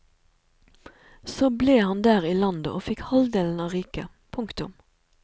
Så ble han der i landet og fikk halvdelen av riket. punktum